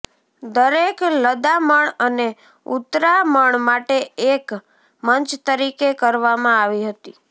દરેક લદામણ અને ઉતરામણ માટે એક મંચ તરીકે કરવામાં આવી હતી